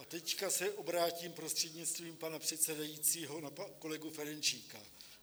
A teď se obrátím prostřednictvím pana předsedajícího na kolegu Ferjenčíka.